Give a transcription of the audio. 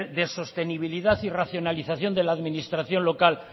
de sostenibilidad y racionalización de la administración local